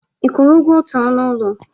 Ị kwụrụ ụgwọ otu ọnụ ụlọ?